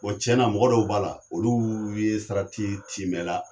Bɔn tiɲɛna mɔgɔ dɔw b'a la, olu ye sarati timɛ la.